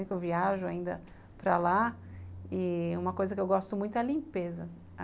Eu viajo ainda para lá e uma coisa que eu gosto muito é a limpeza.